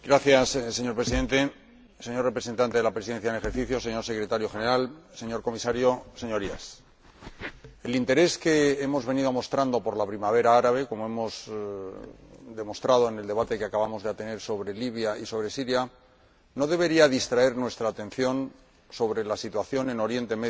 Señor Presidente, señor representante de la Presidencia en ejercicio, señor Secretario General, señor Comisario, Señorías, el interés que hemos venido mostrando por la Primavera Árabe —como hemos demostrado en el debate que acabamos de tener sobre Libia y sobre Siria— no debería distraer nuestra atención de la situación en Oriente Medio